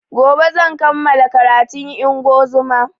Gobe zan kamala karatun ingozuma